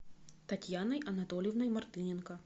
татьяной анатольевной мартыненко